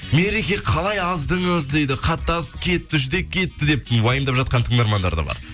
мереке қалай аздыңыз дейді қатты азып кетті жүдеп кетіпті деп уайымдап жатқан тыңдармандар да бар